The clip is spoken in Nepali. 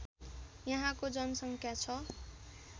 यहाँको जनसङ्ख्या ६